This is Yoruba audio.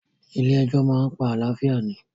Ilé ẹjọ́ máa pa àlàáfíà mi